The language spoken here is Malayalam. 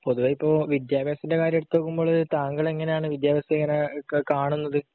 പൊതുവെ ഇപ്പൊ വിദ്യാഭ്യാസത്തിന്റെ കാര്യം എടുത്താല് താങ്കൾ എങ്ങനെയാണ് വിദ്യാഭ്യാസത്തെ ഇങ്ങനെ ഒക്കെ കാണുന്നത്?